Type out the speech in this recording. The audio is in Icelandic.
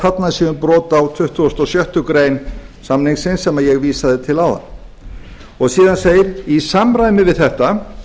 þarna sé um brot á tuttugustu og sjöttu grein samningsins sem ég vísaði til áðan og síðan segir í samræmi við þetta